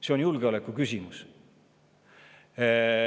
See on julgeolekuküsimus!